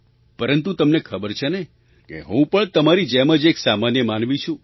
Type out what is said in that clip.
પરંતુ તમને ખબર છે ને કે હું પણ તમારી જેમ જ એક સામાન્ય માનવી છું